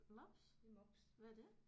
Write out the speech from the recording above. Mops. Hvad er det?